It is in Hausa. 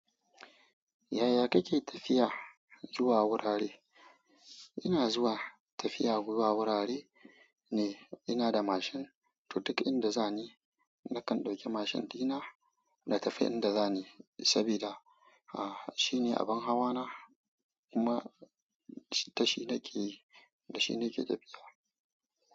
Yaya kake tafiya zuwa wurare? Ina zuwa tafiya zuwa wurare ne ina da mashin, to duk inda zani nakan ɗauki mashin ɗina na tafi inda zani sabida shi ne abin hawana kuma da shi nake, da shi nake tafiya.